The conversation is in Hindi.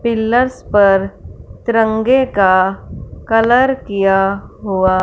पिलर्स पर तिरंगे का कलर किया हुआ--